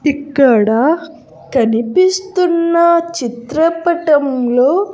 ఇక్కడ కనిపిస్తున్న చిత్రపటంలో.